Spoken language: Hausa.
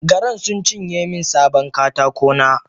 Garan suncinye min sabon katakona.